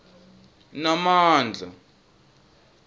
namandla